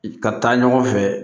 Ka taa ɲɔgɔn fɛ